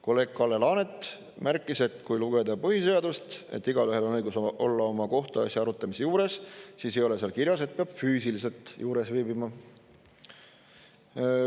Kolleeg Kalle Laanet märkis, et kui lugeda põhiseadust, et igaühel on õigus olla oma kohtuasja arutamise juures, siis ei ole seal kirjas, et peab füüsiliselt juures viibima.